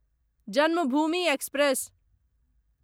Janmabhoomi express